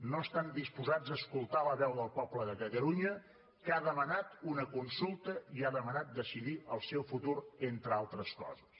no estan disposats a escoltar la veu del poble de catalunya que ha demanat una consulta i ha demanat decidir el seu futur entre altre coses